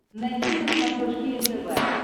найти на смотрешке нтв